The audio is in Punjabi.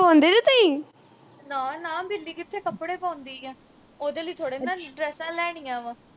ਨਾ ਨਾ ਬਿੱਲੀ ਕਿਥੇ ਕੱਪੜੇ ਪਾਉਂਦੀ ਆ ਉਹਦੇ ਲਈ ਥੋੜੇ ਨਾ ਡਰੈਸਾਂ ਲੈਣੀਆਂ ਵਾ